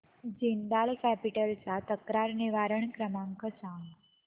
Jindal Capital चा तक्रार निवारण क्रमांक सांग